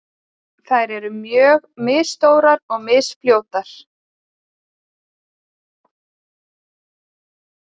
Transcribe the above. Þær eru mjög misstórar og misfljótar.